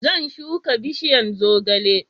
Zan shuka bishiyan zogale